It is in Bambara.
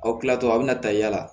Aw kilatɔ aw bɛna ta yaala